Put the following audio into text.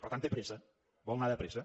per tant té pressa vol anar de pressa